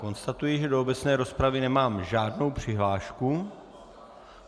Konstatuji, že do obecné rozpravy nemám žádnou přihlášku.